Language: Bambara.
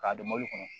K'a don mobili kɔnɔ